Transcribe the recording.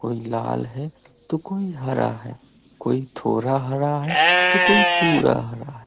कोई लाल है तो कोई हरा है कोई थोड़ा हरा है तो कोई पूरा हरा है।